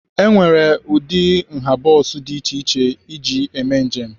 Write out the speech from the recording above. E nwere ụdị na nha bọs dị iche iche eji eme njem.